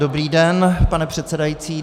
Dobrý den, pane předsedající.